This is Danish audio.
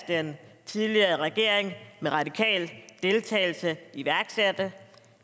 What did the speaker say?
den tidligere regering med radikal deltagelse iværksatte